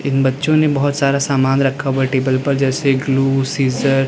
बच्चों ने बहुत सारा सामान रखा हुआ है टेबल पर जैसे ग्लू सीजर ।